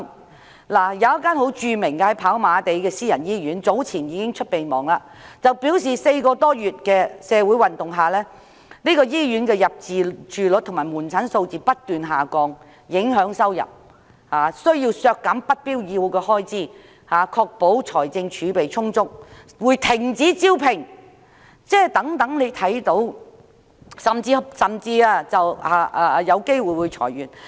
跑馬地有一間著名的私家醫院早前發出備忘，表示4個多月來的社會運動令醫院的入住率和求診數字不斷下降，影響收入，因此有需要削減不必要的開支，以確保財政儲備充足，並會停止招聘，甚至有機會裁員。